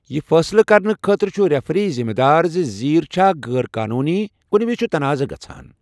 یہِ فٲصلہٕ کرنہٕ خٲطرٕ چھُ ریفری ذِمہ دار زِ زیٖر چھا غٲر قانونی، کُنہِ وِزِ چھُ تنازعہ گژھان۔